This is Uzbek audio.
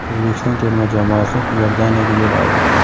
O‘zbekiston terma jamoasi Iordaniyaga yo‘l oldi.